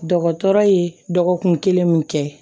Dɔgɔtɔrɔ ye dɔgɔkun kelen min kɛ